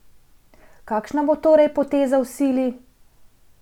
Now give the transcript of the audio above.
Kakšna bo torej poteza v sili?